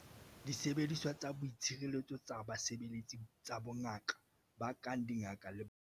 Disebediswa tsa boitshireletso tsa basebeletsi tsa bongaka ba kang dingaka le baoki.